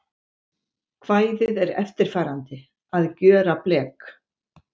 Kvæðið er eftirfarandi: Að gjöra blek